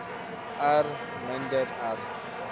r minder r